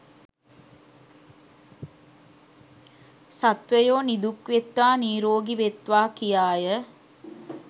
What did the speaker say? සත්වයෝ නිදුක් වෙත්වා නීරෝගී වෙත්වා කියාය.